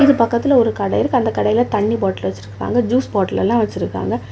இது பக்கத்துல ஒரு கடை இருக்கு அந்த கடையில தண்ணி பாட்டில் வச்சிருக்காங்க ஜூஸ் பாட்டில் எல்லா வச்சிருக்காங்க.